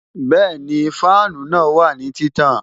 Bẹẹni, fáànù náà wà ní títàn